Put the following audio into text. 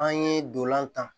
An ye dolan tan